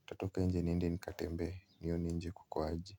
nitatoka nje niende nikatembe, nione nje kukoaje.